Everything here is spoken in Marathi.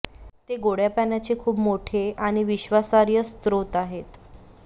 ते गोड्या पाण्याचे खूप मोठे आणि विश्वासार्ह स्त्रोत आहेत